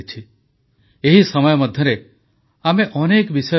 ଭାରତ ବନ୍ଧୁତା ରକ୍ଷା କରିବା ଜାଣେ କିନ୍ତୁ ଆଖିରେ ଆଖି ମିଶେଇ ଉଚିତ ଜବାବ ଦେବା ବି ଜାଣେ